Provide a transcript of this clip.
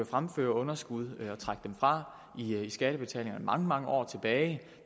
fremføre underskud og trække dem fra i skattebetalingerne mange mange år tilbage